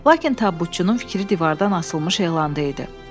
Lakin tabutçunun fikri divardan asılmış elanda idi.